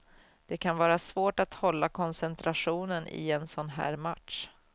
Det kan vara svårt att hålla koncentrationen i en sån här match.